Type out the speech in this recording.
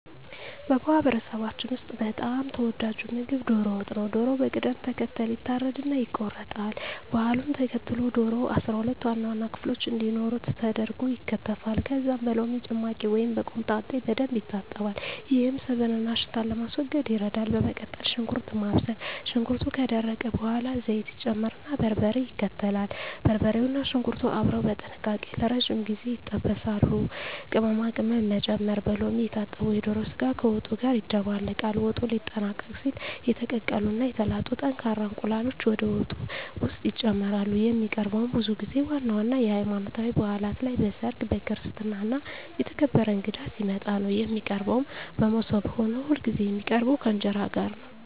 በማህበረሰባችን ውስጥ በጣም ተወዳጁ ምግብ ዶሮ ወጥ ነው። ዶሮው በቅደም ተከተል ይታረድና ይቆረጣል። ባህሉን ተከትሎ ዶሮው 12 ዋና ዋና ክፍሎች እንዲኖሩት ተደርጎ ይከተፋል። ከዚያም በሎሚ ጭማቂ ወይም በኮምጣጤ በደንብ ይታጠባል፤ ይህም ስብንና ሽታን ለማስወገድ ይረዳል። በመቀጠል ሽንኩርት ማብሰል፣ ሽንኩርቱ ከደረቀ በኋላ ዘይት ይጨመርና በርበሬ ይከተላል። በርበሬውና ሽንኩርቱ አብረው በጥንቃቄ ለረጅም ጊዜ ይጠበሳሉ። ቅመማ ቅመም መጨመር፣ በሎሚ የታጠበው የዶሮ ስጋ ከወጡ ጋር ይደባለቃል። ወጡ ሊጠናቀቅ ሲል የተቀቀሉ እና የተላጡ ጠንካራ እንቁላሎች ወደ ወጡ ውስጥ ይጨመራሉ። የሚቀርበውም ብዙ ጊዜ ዋና ዋና የሀይማኖታዊ ባእላት ላይ፣ በሰርግ፣ በክርስትና እና የተከበረ እንግዳ ሲመጣ ነው። የሚቀርበውም በሞሰብ ሆኖ ሁልጊዜ የሚቀርበው ከእንጀራ ጋር ነው።